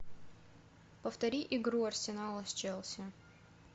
повтори игру арсенала с челси